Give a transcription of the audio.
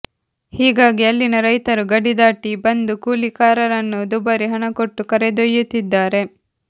ಹೀಗಾಗಿ ಅಲ್ಲಿನ ರೈತರು ಗಡಿದಾಟಿ ಬಂದು ಕೂಲಿಕಾರರನ್ನು ದುಬಾರಿ ಹಣ ಕೊಟ್ಟು ಕರೆದೊಯ್ಯುತ್ತಿದ್ದಾರೆ